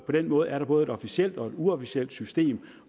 på den måde er der både et officielt og et uofficielt system